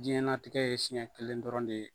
Diɲɛnatigɛ ye siɲɛ kelen dɔrɔn de ye.